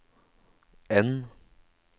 N